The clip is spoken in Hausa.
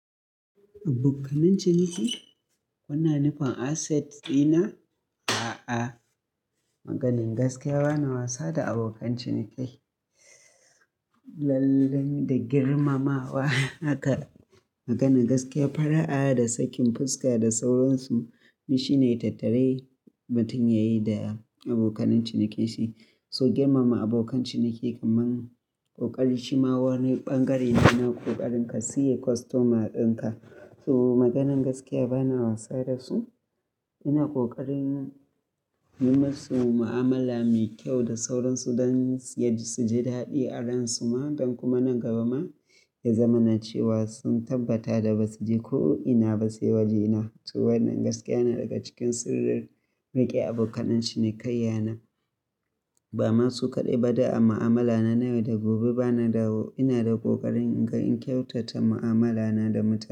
Abokan ciniki suna nufin asset dina? A'a, Maganar gaskiya bana wasa da abokan ciniki. Lalle da girmamawa haka maganar gaskiya fara'a da sakin fuska da sauransu shine tattare mutum yayi da abokan cinikin shi. So girmama abokan ciniki kamar ƙoƙari shi ma wani bangare yana ƙoƙarin ka siye customer dinka. So Maganar gaskiya bana wasa da su, ina ƙoƙarin yi musu mu'amala mai kyau da sauransu don su ji daɗi a ransu ma don kuma nan gaba ma ya zama na cewa sun tabbata da ba su je ko ina ba sai waje na. To wannan gaskiya ne daga cikin sirrin riƙe abokan ciniki yana. Ba ma su kaɗai bada a mu'amala na nayi da gobe bana dawo. Ina da ƙoƙarin in kyautata mu'amala na da mutu.